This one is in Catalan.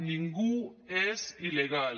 ningú és il·legal